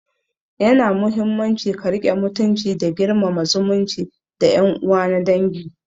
Yana muhimmanci ka riƙe mutunci da girmama zumunci da yan uwa na dangi